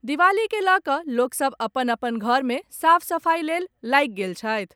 दिवाली के लऽ कऽ लोकसब अपन अपन घर मे साफ सफाइ लेल लागि गेल छथि।